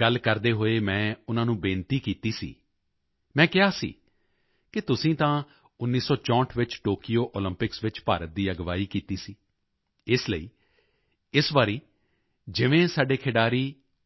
ਗੱਲ ਕਰਦੇ ਹੋਏ ਮੈਂ ਉਨ੍ਹਾਂ ਨੂੰ ਬੇਨਤੀ ਕੀਤਾ ਸੀ ਮੈਂ ਕਿਹਾ ਸੀ ਕਿ ਤੁਸੀਂ ਤਾਂ 1964 ਵਿੱਚ ਟੋਕਯੋ ਓਲੰਪਿਕਸ ਵਿੱਚ ਭਾਰਤ ਦੀ ਅਗਵਾਈ ਕੀਤੀ ਸੀ ਇਸ ਲਈ ਇਸ ਵਾਰੀ ਜਿਵੇਂ ਸਾਡੇ ਖਿਡਾਰੀ